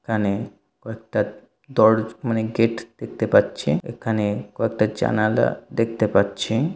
এখানে কয়েকটা দর্জ মানে গেট দেখতে পাচ্ছি। এখানে কয়েকটা জানালা দেখতে পাচ্ছি ।